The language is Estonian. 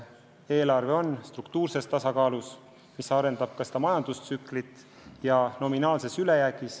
Eelarve on struktuurses tasakaalus ja nominaalses ülejäägis.